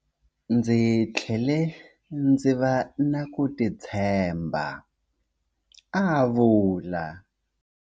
"Ndzi tlhele ndzi va na ku titshemba", a vula.